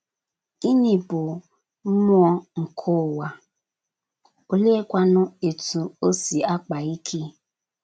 Gịnị bụ mmụọ nke ụwa, oleekwanu etú o si akpa ike?